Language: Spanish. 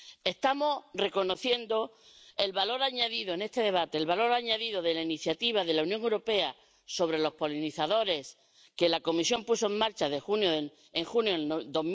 Estamos reconociendo el valor añadido en este debate, el valor añadido de la iniciativa de la Unión Europea sobre los polinizadores que la Comisión puso en marcha en junio de